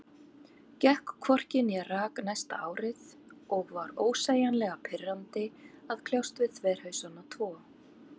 Gekk hvorki né rak næsta árið, og var ósegjanlega pirrandi að kljást við þverhausana tvo.